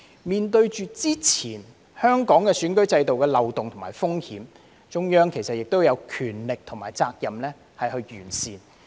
面對之前香港選舉制度的漏洞和風險，中央亦有權力和責任完善。